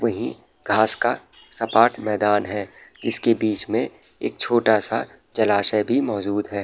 वहीं घास का सपाट मैदान है। इसके बीच में एक छोटा-सा जलाशय भी मौजूद है।